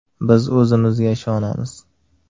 Biz o‘zimizga ishonamiz.